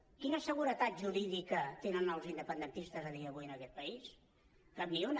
quina seguretat jurídica tenen els independentistes a dia d’avui en aquest país cap ni una